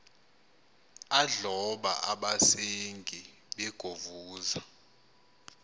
adloba abasengi begovuza